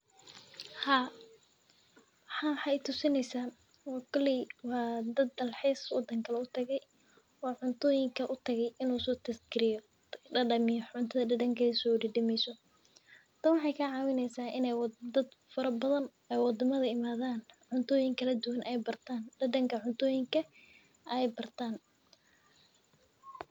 Haa waxan waxee itusineysa waa dad utage dalxis wadankale utage oo cuntoyin kale utage in uso dadamiyo cuntadha dadankedha se udadameyso dadanka cuntoyinka ee bartan.